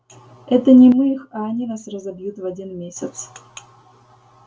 это не мы их а они нас разобьют в один месяц